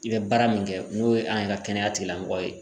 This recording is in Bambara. I bɛ baara min kɛ n'o ye an yɛrɛ ka kɛnɛya tigilamɔgɔw ye.